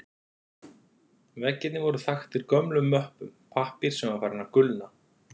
Veggirnir voru þaktir gömlum möppum, pappír sem var farinn að gulna.